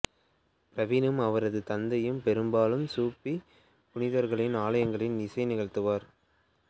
பர்வீனும் அவரது தந்தையும் பெரும்பாலும் சூஃபி புனிதர்களின் ஆலயங்களில் இசை நிகழ்த்துவர்